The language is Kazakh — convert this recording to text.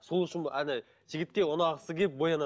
сол үшін жігітке ұнағысы келіп боянады